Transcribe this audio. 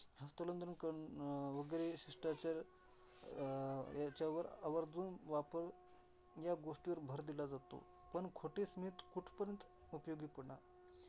हस्तांदोलन करून अं वगैर शिष्टाचार अं ह्याच्यावर आवर्जुन वापर ह्या गोष्टीवर भर दिला जातो. पण खोटे स्मित कुठपर्यंत उपयोगी पडणार.